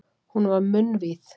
Hún var munnvíð.